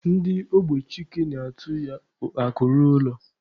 Ndị ogbe Chike na-etu ya Akụ ruo ụlọ.